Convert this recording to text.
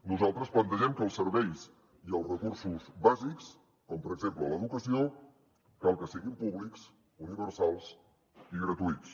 nosaltres plantegem que els serveis i els recursos bàsics com per exemple l’educació cal que siguin públics universals i gratuïts